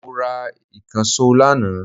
Mo ra ìkànsó lànà